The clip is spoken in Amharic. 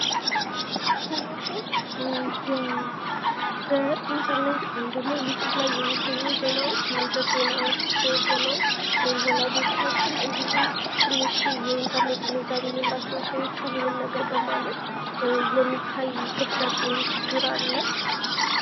አሁን አሁን በኢንተርኔት ወይም ደግሞ ዩቱብ ላይ የሚገኙ ዜናዎች የዉሸት ዜናዎች ሆነዉ ወላጆቻችን ትንሽ የኢንተርኔት ግንዛቤ የሌላቸዉ ሰዎች ሁሉንም ነገር በማመን የሚታይ ክፍተት ወይም ችግር አለ።